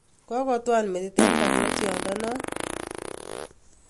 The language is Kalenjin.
Kokotwal metit eng barnotyo non